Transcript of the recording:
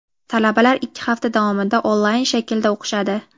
Talabalar ikki hafta davomida onlayn shaklda o‘qishadi.